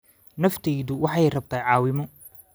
Naftaadu waxay rabtaa caawimo